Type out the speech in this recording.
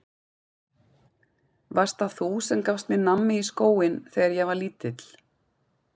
Varst það þú sem gafst mér nammi í skóinn þegar ég var lítill?